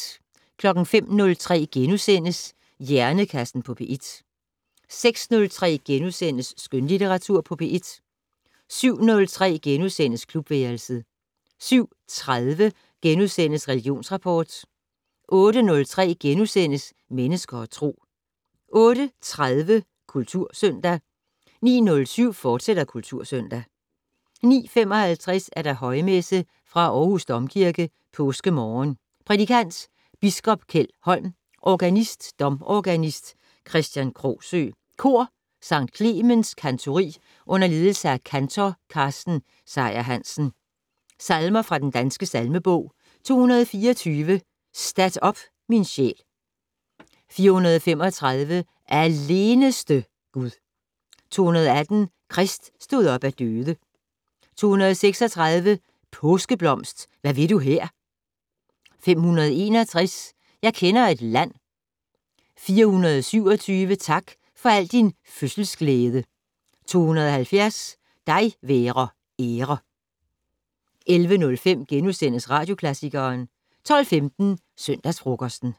05:03: Hjernekassen på P1 * 06:03: Skønlitteratur på P1 * 07:03: Klubværelset * 07:30: Religionsrapport * 08:03: Mennesker og Tro * 08:30: Kultursøndag 09:07: Kultursøndag, fortsat 09:55: Højmesse - Fra Aarhus Domkirke. Påskemorgen. Prædikant: Biskop Kjeld Holm. Organist: Domorganist Kristian Krogsøe. Kor: Sct. Clemens Cantori under ledelse af kantor Carsten Seyer-Hansen. Salmer fra Den Danske Salmebog: 224 "Stat op min sjæl". 435 "Aleneste Gud". 218 "Krist stod op af døde". 236 "Påskeblomst, hvad vil du her". 561 "Jeg kender et land". 427 "Tak for al din fødselsglæde". 270 "Dig være ære". 11:05: Radioklassikeren * 12:15: Søndagsfrokosten